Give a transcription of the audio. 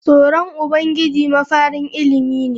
Tsoron Ubangiji mafarin ilimi ne.